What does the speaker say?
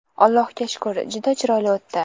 Allohga shukr, juda chiroyli o‘tdi.